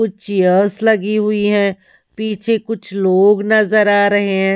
कुछ चेयर्स लगी हुई है पीछे कुछ लोग नजर आ रहे हैं।